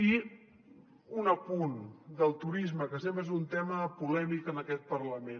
i un apunt del turisme que sempre és un tema polèmic en aquest parlament